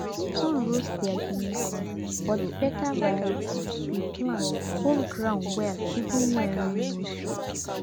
sun roast their guinea corn but the better variety we plant hold ground well even when rain no show